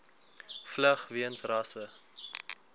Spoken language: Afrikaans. vlug weens rasse